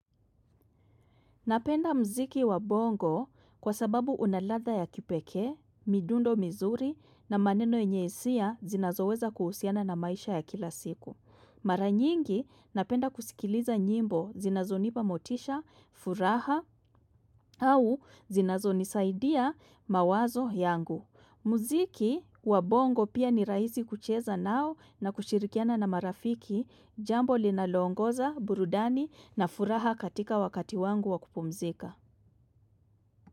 Napenda mziki wa bongo kwa sababu unaladha ya kipekee, midundo mizuri na maneno yenye hisia zinazoweza kuhusiana na maisha ya kila siku. Mara nyingi napenda kusikiliza nyimbo zinazonipa motisha, furaha au zinazonisaidia mawazo yangu. Muziki wa bongo pia ni raisi kucheza nao na kushirikiana na marafiki jambo linaloongoza, burudani na furaha katika wakati wangu wa kupumzika.